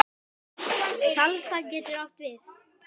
Salsa getur átt við